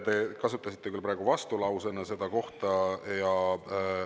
Te kasutasite küll praegu vastulausena seda kohta.